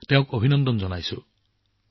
মই তেওঁক অভিনন্দন জনাইছো